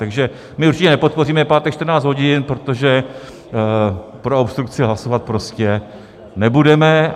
Takže my určitě nepodpoříme pátek 14 hodin, protože pro obstrukci hlasovat prostě nebudeme.